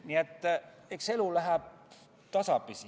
Nii et eks elu läheb tasapisi.